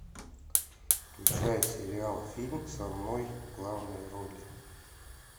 включай сериал фильм со мной в главной роли